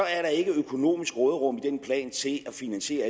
er der ikke økonomisk råderum i den plan til at finansiere